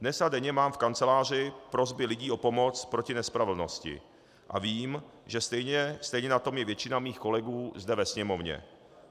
Dnes a denně mám v kanceláři prosby lidí o pomoc proti nespravedlnosti a vím, že stejně na tom je většina mých kolegů zde ve Sněmovně.